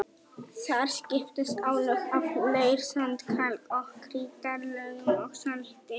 Þar skiptast á lög af leir-, sand-, kalk- og krítarlögum og salti.